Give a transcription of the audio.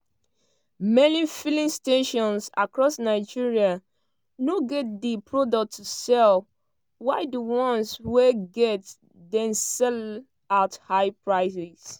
many filling stations across nigeria no get di product to sell while di ones wey get dey sell at higher prices.